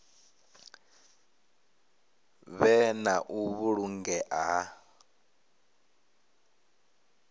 vhe na u vhulungea ha